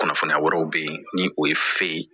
Kunnafoniya wɛrɛw bɛ yen ni o ye fe ye